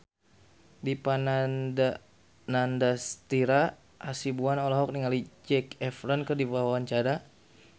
Dipa Nandastyra Hasibuan olohok ningali Zac Efron keur diwawancara